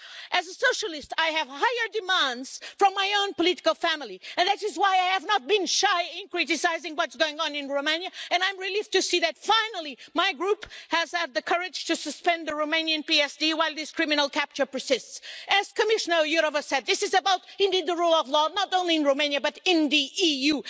As a socialist, I have higher demands from my own political family and that is why I have not been shy in criticising what's going on in Romania, and I am relieved to see that, finally, my Group has had the courage to suspend the Romanian PSD while this criminal capture persists. As Commissioner Jourová said, this is about the rule of law, not only in Romania but in the EU.